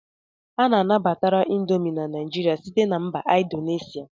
A nabatara indomi na Naijiria site na mba Indonesia.